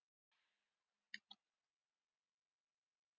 Við getum ekki samþykkt að aðrar reglur eigi að gilda um fótboltamenn.